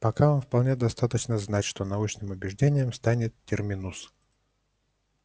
пока вам вполне достаточно знать что научным убеждением станет терминус